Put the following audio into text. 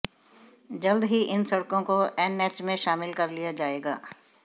जल्द ही इन सड़कों को एनएच में शामिल कर लिया जाएगा